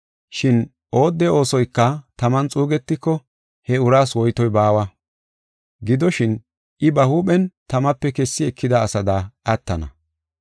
Shin oodde oosoyka taman xuugetiko, he uraas woytoy baawa. Gidoshin, I ba huuphen tamape kessi ekida asada attana.